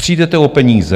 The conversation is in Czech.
Přijdete o peníze.